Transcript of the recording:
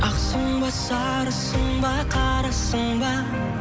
ақсың ба сарысың ба қарасың ба